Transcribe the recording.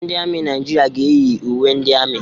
Ndị ami Naịjirịa ga-eyi uwe ndị ami.